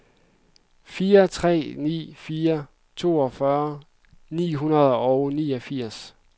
fire tre ni fire toogfyrre ni hundrede og niogfirs